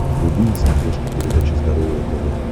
вруби на смотрешке передачу здоровое тв